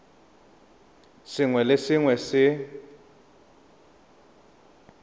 sengwe le sengwe se se